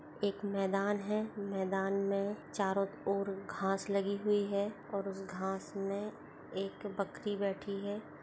एक मैदान है मैदान में चारों और घास लगी हुई है और उसे घास में एक बकरी बैठी है।